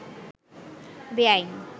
বেয়াইন